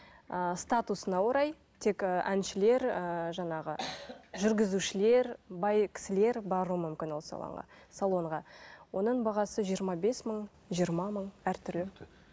ыыы статусына орай тек әншілер ііі жаңағы жүргізушілер бай кісілер баруы мүмкін ол салонға салонға оның бағасы жиырма бес мың жиырма мың әртүрлі